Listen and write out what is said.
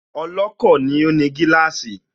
Ọlọ́kọ̀ ni ó ní gíláàsì